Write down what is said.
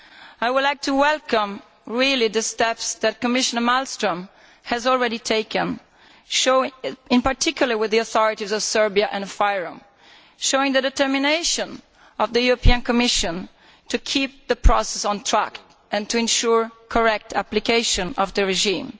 I would like to welcome the steps that Commissioner Malmström has already taken in particular, with the authorities of Serbia and FYROM showing the determination of the Commission to keep the process on track and to ensure correct application of the regime.